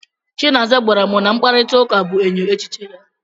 Chinaza gwara m na mkparịtaụka bụ enyo echiche ya.